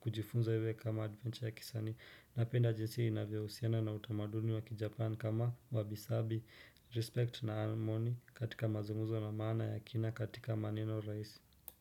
kujifunza iwe kama adventure ya kisanii. Napenda jinsi inavyohusiana na utamaduni wa kijapan kama wabi sabi, respect na almoni katika mazungumzo na maana ya kina katika maneno rahisi.